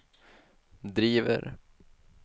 driver